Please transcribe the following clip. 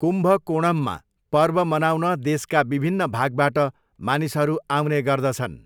कुम्भकोणममा पर्व मनाउन देशका विभिन्न भागबाट मानिसहरू आउने गर्दछन्।